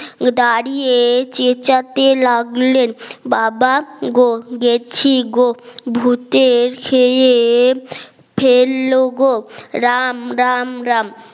দাঁড়িয়ে চেঁচাতে লাগলেন বাবা গো গেছি গো ভূতে খেয়ে ফেলল গো রাম রাম রাম